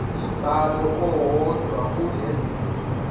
umbhalo owodwa kule